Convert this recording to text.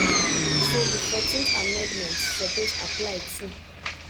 so di 14th amendment suppose apply too.